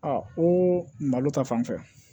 ko malo ta fanfɛ